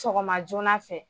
Sɔgɔma joona fɛ.